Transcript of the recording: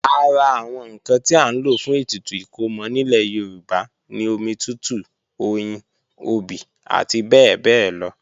Ara àwọn ǹkan tí à ń lò fún ètùtù ìkómọ nílẹ̀ Yorùbá ni omi tútù, oyin, obì àti bẹ́ẹ̀bẹ́ẹ́lọ